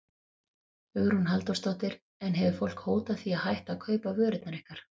Hugrún Halldórsdóttir: En hefur fólk hótað því að hætta að kaupa vörurnar ykkar?